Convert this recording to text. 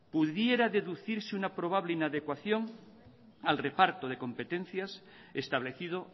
pudiera deducirse una probables inadecuación al reparto de competencias establecido